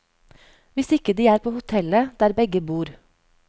Hvis ikke de er på hotellet, der begge bor.